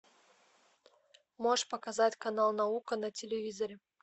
можешь показать канал наука на телевизоре